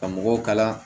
Ka mɔgɔw kalan